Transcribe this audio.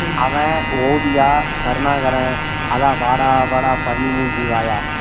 அஹ கிருஷ்ணா அவன் ஓவியா கருணாகரன் வாடா வாடா வாடா பன்னி மூஞ்சி வாயா